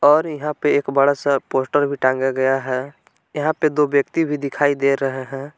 और यहाँ पे एक बड़ा सा पोस्टर भी टांगा गया है यहाँ पे दो व्यक्ति भी दिखाई दे रहे है।